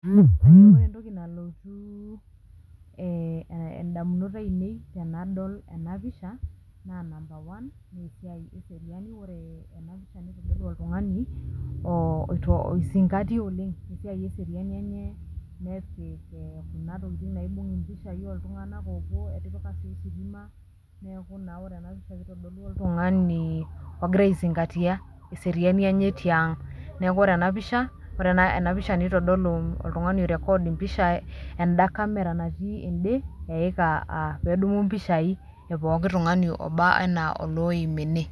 Ore entoki nalotu ndaminot aainei tenadol enapisha naa number one esiai eseriani ore ena pisha nitodolu oltung'ani oizingatia oleng' esiai eseriani eneye nepik ee kuna tokitin naibung' mpishai oltung'anak oopuo etipika sii ositima neeku naa ore ena pisha kitodolu oltung'ani ogira aizingatia eseriani enye tiang', neeku ore ena pisha nitodolu oltung'ani oirecord mpishai enda camera natii ende eika aa pee edumu mpishai epooki tung'ani oba enaa olooim ene.